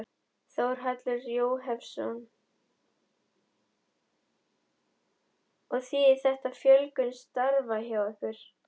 Þórhallur Jósefsson: Og þýðir þetta fjölgun starfa hjá ykkur?